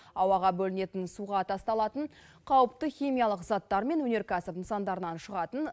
ауаға бөлінетін суға тасталатын қауіпті химиялық заттар мен өнеркәсіп нысандарынан шығатын